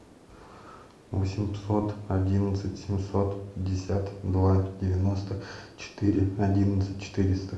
восемьсот одиннадцать семьсот пятьдесят два девяносто четыре одиннадцать четыреста